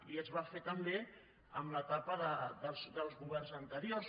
i es va fer també en l’etapa dels governs anteriors